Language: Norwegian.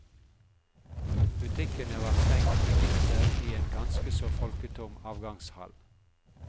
Butikkene var stengt med gitter i en ganske så folketom avgangshall.